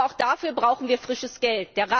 Aber auch dafür brauchen wir frisches Geld.